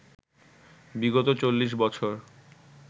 বিগত চল্লিশ বছর